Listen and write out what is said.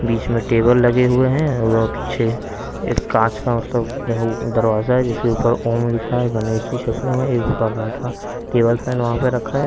बीच में टेबल लगे हुए हैं और पीछे एक कांच का मतलब दरवाजा है जिसके ऊपर ओम लिखा है गणेश जी छपे हुए है एक ऊपर बैठा टेबल फैन वहां पे रखा है।